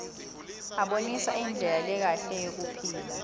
abonisa indlela lekahle yekuphila